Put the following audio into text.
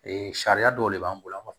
Ee sariya dɔw de b'an bolo an b'a fɔ